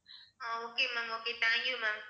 ah okay mam okay thank you mam